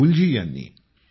राहुलजी ह्यांनी